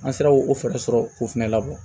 An sera o fɛɛrɛ sɔrɔ k'o fɛnɛ labɔ